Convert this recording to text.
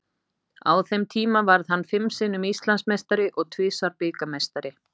Á þeim tíma varð hann fimm sinnum Íslandsmeistari og tvisvar bikarmeistari.